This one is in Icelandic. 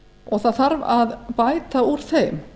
og það þarf að bæta úr þeim